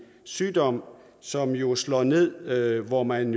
sygdom som jo slår ned hvor man